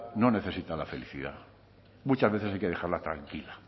no necesita la felicidad muchas veces hay que dejarla tranquila